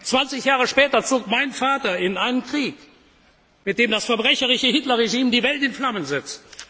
Weltkrieg. 20 Jahre später zog mein Vater in einen Krieg, mit dem das verbrecherische Hitler Regime die Welt in Flammen